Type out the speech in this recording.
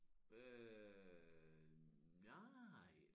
Øh nja